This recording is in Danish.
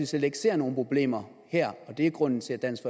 slet ikke ser nogen problemer her og at det er grunden til at dansk